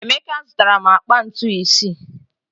Emeka zụtara akpa ntu isii.